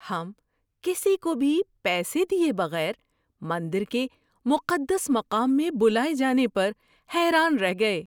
ہم کسی کو بھی پیسے دیے بغیر مندر کے مقدس مقام میں بلائے جانے پر حیران رہ گئے۔